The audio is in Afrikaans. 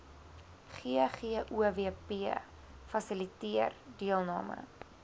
ggowp fasiliteer deelname